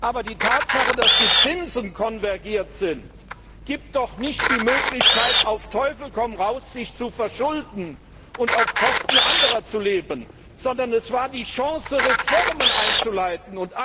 Aber die Tatsache, dass die Zinsen konvergiert sind, gibt doch nicht die Möglichkeit, sich auf Teufel komm raus zu verschulden und auf Kosten anderer zu leben, sondern bietet die Chance, Reformen einzuleiten.